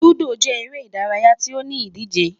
Ludo jẹ ere idaraya ti o ni idije